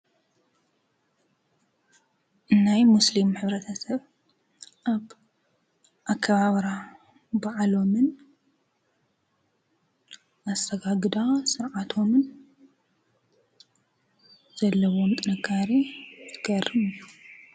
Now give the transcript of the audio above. ናይ ሙስሊም ሕብረተሰብ ኣከባብራ በዓሎምን ኣሰጋግዳ ስርዓቶምን ዘለዎም ጥንካረ ዝገርም እዩ።